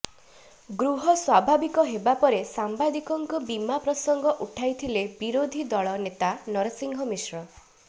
ଗୃହ ସ୍ୱାଭାବିକ ହେବା ପରେ ସାମ୍ବାଦିକଙ୍କ ବୀମା ପ୍ରସଙ୍ଗ ଉଠାଇଥିଲେ ବିରୋଧୀ ଦଳ ନେତା ନରସିଂହ ମିଶ୍ର